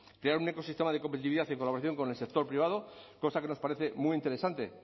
crear un ecosistema de competitividad en colaboración con el sector privado cosa que nos parece muy interesante